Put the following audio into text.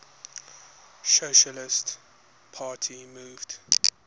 socialist party moved